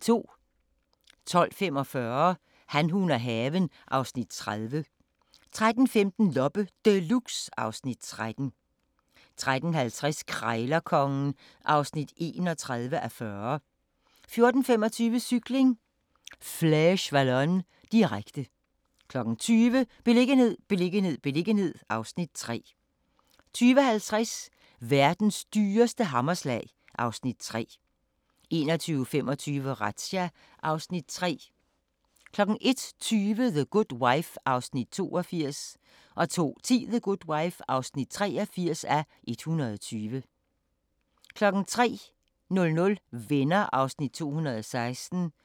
12:45: Han, hun og haven (Afs. 30) 13:15: Loppe Deluxe (Afs. 13) 13:50: Krejlerkongen (31:40) 14:25: Cykling: Flèche Wallonne, direkte 20:00: Beliggenhed, beliggenhed, beliggenhed (Afs. 3) 20:50: Verdens dyreste hammerslag (Afs. 3) 21:25: Razzia (Afs. 3) 01:20: The Good Wife (82:120) 02:10: The Good Wife (83:120) 03:00: Venner (216:235)